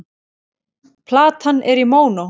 Platan er í mónó.